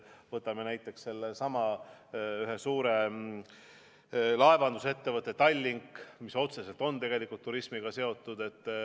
Võtame näiteks sellesama suure laevandusettevõtte Tallink, mis on tegelikult otseselt turismiga seotud.